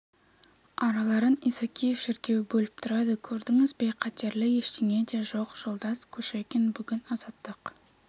араларын исакиев шіркеуі бөліп тұрады көрдіңіз бе қатерлі ештеңе де жоқ жолдас кушекин бүгін азаттық